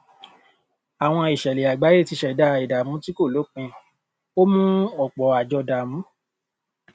àwọn ìṣẹlẹ àgbáyé ti ṣẹdá ìdààmú tí kò lópin ó mú ọpọ àjọ dààmú